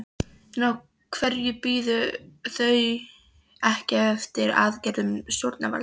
En af hverju biðu þau ekki eftir aðgerðum stjórnvalda?